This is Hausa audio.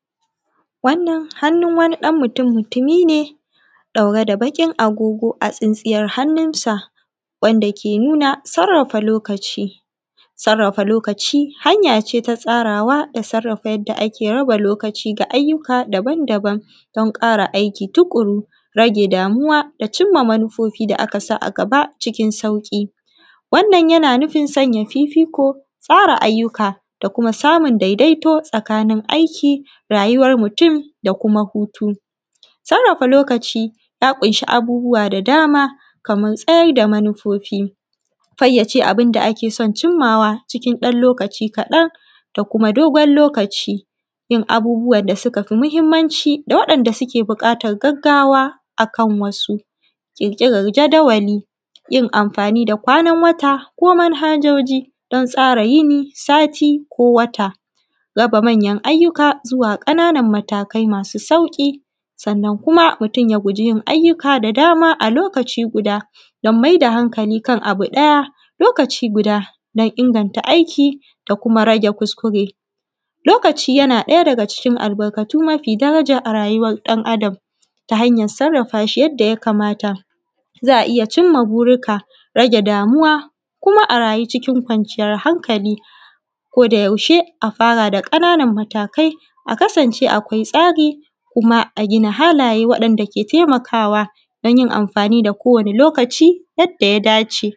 wannan hannun wani ɗan mutun mutumi ne ɗaure da baƙin agogo tsintsiyar hannunsa wanda ke nun sarrafa lokaci sarrafa lokaci hanya ce ta tsarawa da sarrafa yanda ake raba lokaci ga ayyuka daban daban don ƙara aiki tuƙuru rage damuwa da jin ma manuufofi da a ka sa a gaba cikin sauƙi wannan yana nufin sanya fiifiiko tsara ayyuka da kuma da kuma samun daidaito tsakanin aiki rayuwan mutum da kuma hutu sarrafa lokaci ja ƙunshi abubbuwa da dama kaman tsayar da manufofi fayyace abun da ake son cimawa cikin ɗan lo:kaci kaɗan da kuma dogon lokaci yin abubuwan da suka fi muhimanci da waɗanda suke buƙatan gaggawa akan wasu ƙirƙiran jadawali yin amfani da kwanan wata ko manhajoji don tsara yini sati ko wata raba manyan ayyuka zuwa ƙananan matakai masu sauƙi sannan kuma mutum ya guji yin ayyuka da dama a lokaci guda don maida hankali kan abu ɗaya lokaci guda don inganta aiki da kuma rage kuskure lokaci yana ɗaya daga cikin albarkatun mafi daraja a rayuwan ɗan adam ta hanyan sarafa shi yanda ya kamata za a iya yin ma burinka rage damuwa kuma a rayu cikin kwanciiyar hankali ko da yaushe a fara da kananan matakai a kasance akwai tsari kuma a gina halaje waɗanda ke taimakawa don yin amfani da kowane lokaci yada ya dace